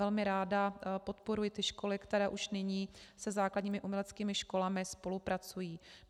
Velmi ráda podporuji ty školy, které už nyní se základními uměleckými školami spolupracují.